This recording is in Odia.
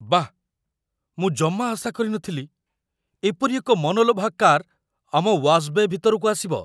ବାଃ! ମୁଁ ଜମା ଆଶା କରି ନ ଥିଲି ଏପରି ଏକ ମନଲୋଭା କାର୍ ଆମ ୱାଶ୍ ବେ' ଭିତରକୁ ଆସିବ।